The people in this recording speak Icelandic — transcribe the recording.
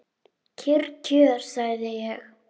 Kyrr kjör, sagði ég.